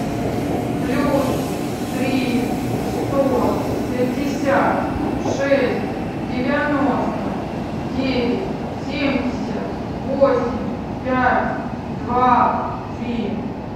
плюс три сто пятьдесят шесть девяносто девять семьдесят восемь пять два три